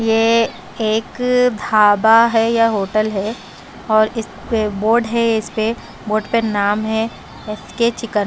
ये एक धाबा है या होटल है और इस पे बोर्ड है इस पे बोर्ड पर नाम है एफ_के चिकन --